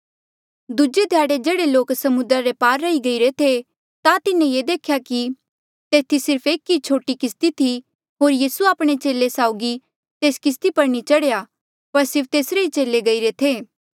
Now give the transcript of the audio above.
दूजे ध्याड़े जेह्ड़े लोक समुद्रा रे पार रही गईरे थे ता तिन्हें ये देख्या कि तेथी सिर्फ एक ई छोटी किस्ती थी होर यीसू आपणे चेले साउगी तेस किस्ती पर नी चढ़ेया पर सिर्फ तेसरे चेले ही गईरे थे